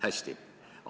Hästi!